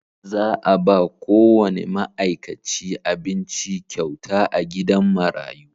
Za a ba kowane ma’aikaci abinci kyauta a gidan marayu.